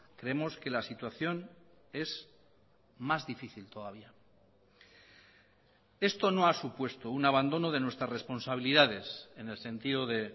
creemos que la situación es más difícil todavía esto no ha supuesto un abandono de nuestras responsabilidades en el sentido de